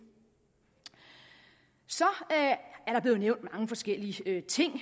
så er der blevet nævnt mange forskellige ting